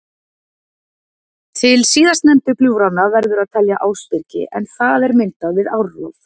Til síðast nefndu gljúfranna verður að telja Ásbyrgi en það er myndað við árrof.